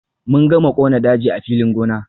Mun gama kona daji a filin gona.